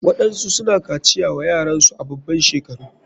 Waɗansu suna kaciya wa yaransu a baban shekaru.